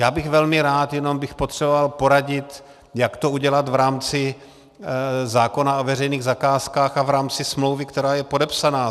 Já bych velmi rád, jenom bych potřeboval poradit, jak to udělat v rámci zákona o veřejných zakázkách a v rámci smlouvy, která je podepsána.